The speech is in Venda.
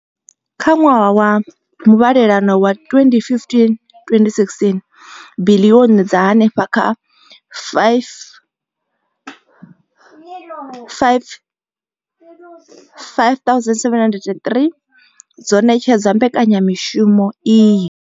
Kha ṅwaha wa muvhalelano wa 2015,16, biḽioni dza henefha kha R5 703 dzo ṋetshedzwa mbekanya mushumo iyi.